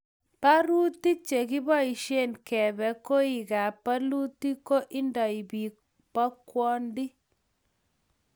barutik che kiboisien keebe koikab bolutik ko indei biik bokwondi